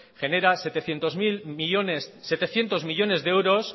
genera setecientos millónes de euros